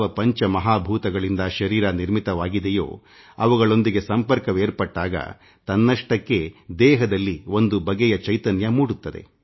ಪಂಚ ಮಹಾಭೂತಗಳಿಂದಾದ ಶರೀರ ಅವುಗಳೊಂದಿಗೆ ಸಂಪರ್ಕವೇರ್ಪಟ್ಟಾಗ ತನ್ನಷ್ಟಕ್ಕೇ ದೇಹದಲ್ಲಿ ಒಂದು ಬಗೆಯ ಚೈತನ್ಯ ಮೂಡುತ್ತದೆ